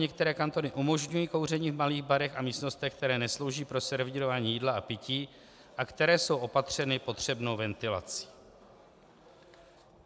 Některé kantony umožňují kouření v malých barech a místnostech, které neslouží pro servírování jídla a pití a které jsou opatřeny potřebnou ventilací.